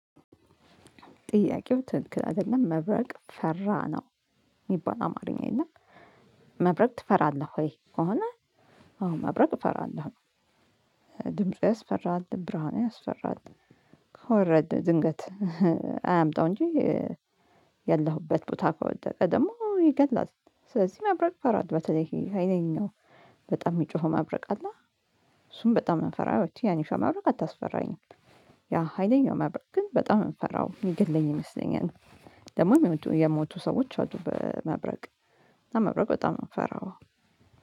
ጥያቄው ትክክል አይደለም መብረቅ ፈራ ነው የሚባል አማርኛ የለም። እና መብረቅ ትፈራለህ ወይ ከሆነ? አሁን መብረቅ እፈራለሁ። ድምፁ ያስፈራል ብርሃን ያስፈራል ከወረደ ድንገት። አያምጣው እንጂ። ያለሁበት ቦታ ከወደቀ ደግሞ ይገላል። ስለዚህ መብረቅ እፈራለው በተለይ ኃይለኛው በጣም የሚጮኸው ማብረቅ አለ። እሱን በጣም ምፈራው ያ ትንሿ መብረቅ አታስፈራኝም። ያ ሀይለኛው መብረቅ ግን በጣም ነው ምፈራው ሚገለኝ ይመስለኛል። ደግሞ የሞቱ ሰዎች አሉ በመብረቅ። መብረቅ በጣም ነው የምፈራው።